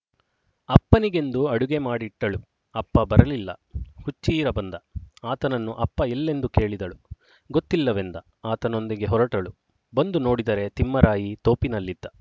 ಅಪ್ಪನಿಗೆಂದು ಅಡುಗೆ ಮಾಡಿಟ್ಟಳು ಅಪ್ಪ ಬರಲಿಲ್ಲ ಹುಚ್ಚೀರ ಬಂದ ಆತನನ್ನು ಅಪ್ಪ ಎಲ್ಲೆಂದು ಕೇಳಿದಳು ಗೊತ್ತಿಲ್ಲವೆಂದ ಆತನೊಂದಿಗೆ ಹೊರಟಳು ಬಂದು ನೋಡಿದರೆ ತಿಮ್ಮರಾಯಿ ತೋಪಿನಲ್ಲಿದ್ದ